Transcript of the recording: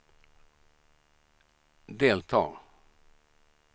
delta